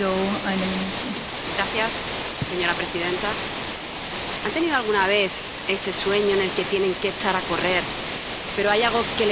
Señora presidenta, ¿han tenido alguna vez ese sueño en el que tienen que echar a correr, pero hay algo que les frena y no pueden avanzar?